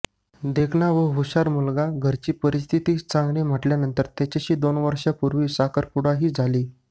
देखणा व हुशार मुलगा घरची परिस्थितीही चांगली म्हटल्यानंतर त्याच्याशी दोन वर्षांपूर्वी साखरपुडाही झाली